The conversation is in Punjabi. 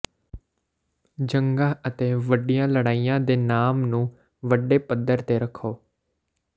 ਜੰਗਾਂ ਅਤੇ ਵੱਡੀਆਂ ਲੜਾਈਆਂ ਦੇ ਨਾਮ ਨੂੰ ਵੱਡੇ ਪੱਧਰ ਤੇ ਰੱਖੋ